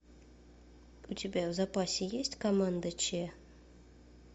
у тебя в запасе есть команда че